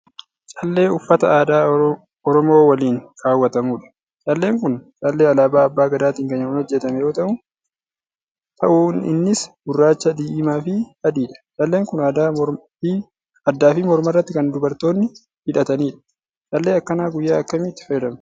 Callee uffata aadaa oromoowaliin kaawwatamudha. Calleen kun haalluu alaabaa abbaa gadaatiin kan hojjatame yoo ta'uinnisgurraacha, diimaafi adiidha. Calleen kun addaafi mormarratti kan dubartoonni hidhatanidha. Callee akkanaa guyyaa akkamii itti fayyadamnaa?